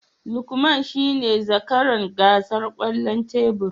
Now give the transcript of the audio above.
Lukman shine zakaran gasar kwallon tebur